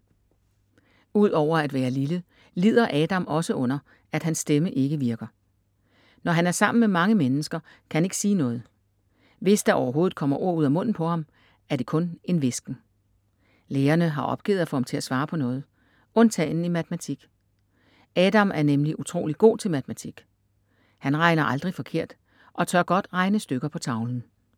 Udover at være lille, lider Adam også under, at hans stemme ikke virker. Når han er sammen med mange mennesker, kan han ikke sige noget. Hvis der overhovedet kommer ord ud af munden på ham, er det kun en hvisken. Lærerne har opgivet at få ham til at svare på noget. Undtagen i matematik. Adam er nemlig utrolig god til matematik. Han regner aldrig forkert og tør godt regne stykker på tavlen.